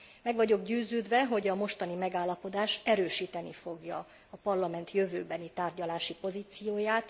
Meg vagyok győződve, hogy a mostani megállapodás erősíteni fogja a Parlament jövőbeni tárgyalási pozícióját.